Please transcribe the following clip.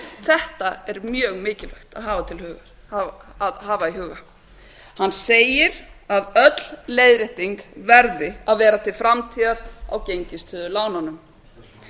þetta er mjög mikilvægt að hafa í huga hann segir að öll leiðrétting verði að vera til framtíðar á gengistryggðu lánunum